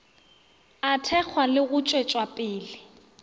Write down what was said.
a thekgwa le go tšwetšwapele